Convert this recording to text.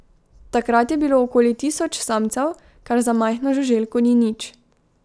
Takrat je bilo okoli tisoč samcev, kar za majhno žuželko ni nič.